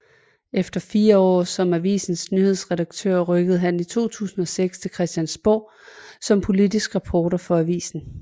Efter fire år som avisens nyhedsredaktør rykkede han i 2006 til Christiansborg som politisk reporter for avisen